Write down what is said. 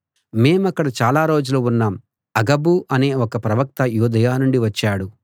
మేమక్కడ చాలా రోజులు ఉన్నాం అగబు అనే ఒక ప్రవక్త యూదయ నుండి వచ్చాడు